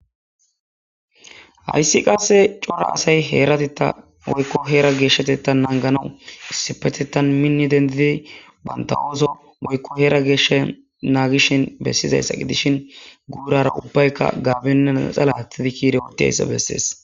Hayssi qasse cora asay heerati ta moykko heera geeshshate ta nanganawu issipetetan minni dendidi banta ooso moykko heera geeshsha naagishin bessizayssa gidishin guurara ubbayka gaabinne naxala hatidi kiire wuddiyayssa bessees